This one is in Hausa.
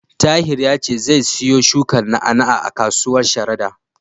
Tahir ya ce zai siyo shukar na'a-na'a a kasuwar Sharada.